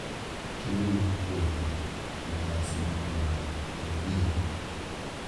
Chiemo ma opuodhi ne nyasi makamagi en ring`o.